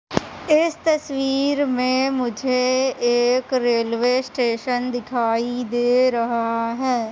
इस तस्वीर में मुझे एक रेलवे स्टेशन दिखाई दे रहा है।